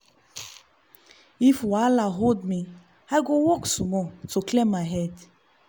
if wahala hold me i go walk small to clear head.